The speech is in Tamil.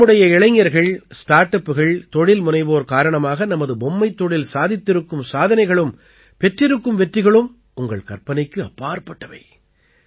நம்முடைய இளைஞர்கள் ஸ்டார்ட் அப்புகள் தொழில் முனைவோர் காரணமாக நமது பொம்மைத் தொழில் சாதித்திருக்கும் சாதனைகளும் பெற்றிருக்கும் வெற்றிகளும் உங்கள் கற்பனைக்கு அப்பாற்பட்டவை